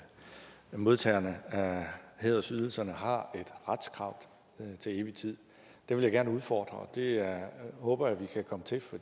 modtagerne af hædersydelserne har et retskrav til evig tid det vil jeg gerne udfordre det håber jeg vi kan komme til for